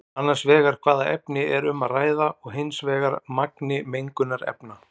Annars vegar hvaða efni er um að ræða og hins vegar magni mengunarefna.